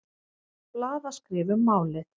Blaðaskrif um málið.